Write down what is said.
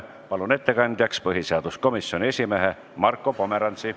Palun ettekandjaks põhiseaduskomisjoni esimehe Marko Pomerantsi.